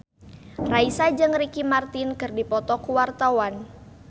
Raisa jeung Ricky Martin keur dipoto ku wartawan